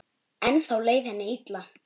Ennþá leið henni illa.